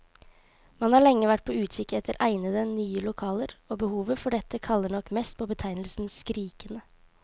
Man har lenge vært på utkikk etter egnede, nye lokaler, og behovet for dette kaller nok mest på betegnelsen skrikende.